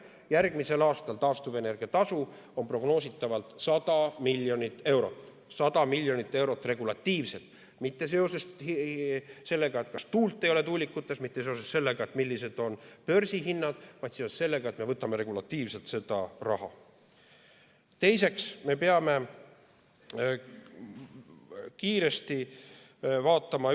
Järgmisel aastal on taastuvenergia tasu prognoositavalt 100 miljonit eurot, 100 miljonit eurot regulatiivselt, mitte seoses sellega, et tuult ei ole tuulikutes, mitte seoses sellega, millised on börsihinnad, vaid seoses sellega, et me võtame seda raha regulatiivselt.